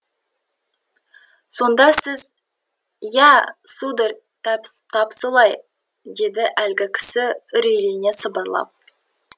сонда сіз иә сударь тап солай деді әлгі кісі үрейлене сыбырлап